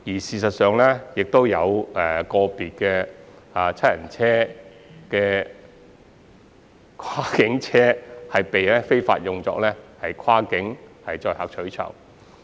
事實上，現時亦有個別七人跨境車被非法用作跨境載客取酬。